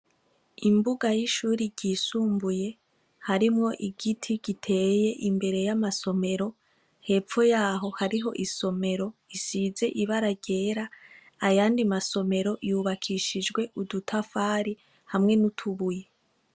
Imbuga y' ishure ryisumbuye harimwo igiti giteye imbere y' amasomero hepfo yaho hariho isomero isize ibara ryera ayandi masomero yubakishijwe udutafari hamwe n' amabuye.